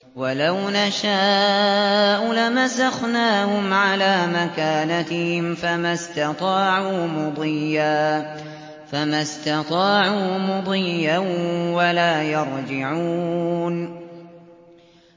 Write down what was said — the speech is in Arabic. وَلَوْ نَشَاءُ لَمَسَخْنَاهُمْ عَلَىٰ مَكَانَتِهِمْ فَمَا اسْتَطَاعُوا مُضِيًّا وَلَا يَرْجِعُونَ